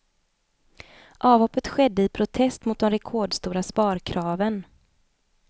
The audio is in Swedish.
Avhoppet skedde i protest mot de rekordstora sparkraven.